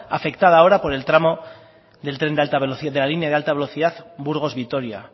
afectada ahora por el tramo de la línea de alta velocidad burgos vitoria